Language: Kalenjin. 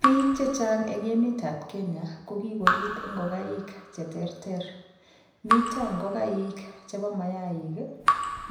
Biik che chaang eng emet ab Kenya ko kokoriib ingoigaik che terter miten ingoigaik chebo mayaik